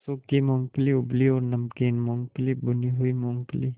सूखी मूँगफली उबली और नमकीन मूँगफली भुनी हुई मूँगफली